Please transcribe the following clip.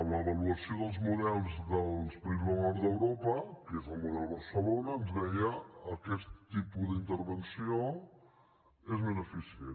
l’avaluació dels models dels països del nord d’europa que és el model barcelona ens deia aquest tipus d’intervenció és més eficient